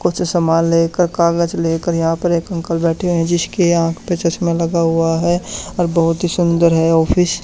कुछ सामान लेकर कागज लेकर यहां पर एक अंकल बैठे हैं जिसके आंख पे चश्मा लगा हुआ है और बहुत ही सुंदर है ऑफिस ।